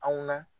Anw na